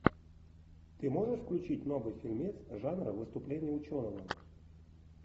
ты можешь включить новый фильмец жанра выступление ученого